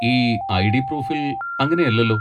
ഈ ഐ.ഡി. പ്രൂഫിൽ അങ്ങനെയല്ലല്ലോ.